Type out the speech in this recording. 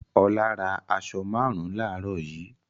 Ọlá ra aṣọ márùn-ún láàárọ̀ yìí.